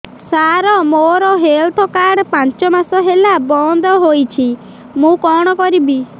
ସାର ମୋର health card ପାଞ୍ଚ ମାସ ହେଲା ବଂଦ ହୋଇଛି ମୁଁ କଣ କରିବି